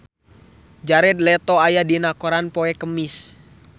Jared Leto aya dina koran poe Kemis